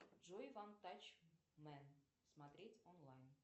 джой ван тач мен смотреть онлайн